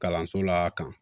Kalanso la kan